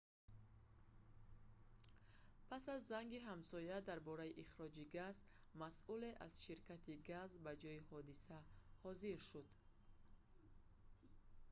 пас аз занги ҳамсоя дар бораи ихроҷи газ масъуле аз ширкати газ ба ҷойи ҳодиса ҳозир шуд